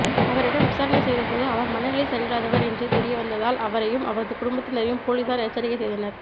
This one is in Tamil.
அவரிடம் விசாரணை செய்தபோது அவர் மனநிலை சரியில்லாதவர் என்று தெரிய வந்ததால் அவரையும் அவரது குடும்பத்தினரையும் போலீசார் எச்சரிக்கை செய்தனர்